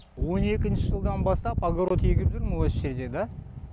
он екінші жылдан бастап огород егіп жүрмін осы жерде да